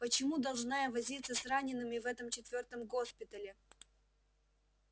почему должна я возиться с ранеными в этом четвёртом госпитале